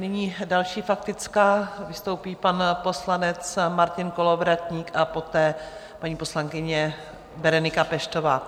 Nyní další faktická, vystoupí pan poslanec Martin Kolovratník a poté paní poslankyně Berenika Peštová.